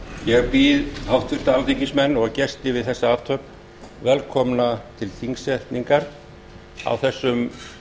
ég býð háttvirta alþingismenn og gesti við þessa athöfn velkomna til þingsetningar á þessum